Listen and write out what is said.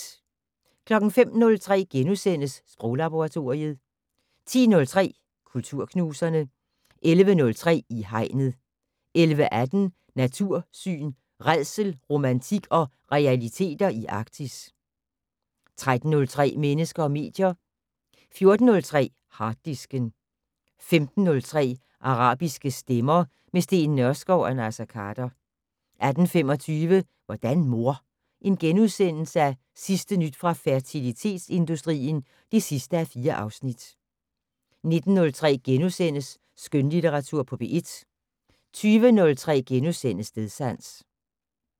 05:03: Sproglaboratoriet * 10:03: Kulturknuserne 11:03: I Hegnet 11:18: Natursyn: Rædsel, romantik og realiteter i Arktis 13:03: Mennesker og medier 14:03: Harddisken 15:03: Arabiske stemmer - med Steen Nørskov og Naser Khader 18:25: Hvordan mor? Sidste nyt fra fertilitetsindustrien (4:4)* 19:03: Skønlitteratur på P1 * 20:03: Stedsans *